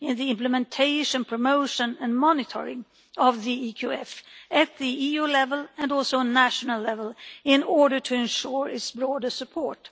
implementation, promotion and monitoring of the EQF, at EU level and also at national level, in order to ensure its broader support.